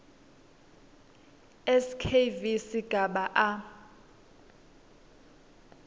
skv sigaba a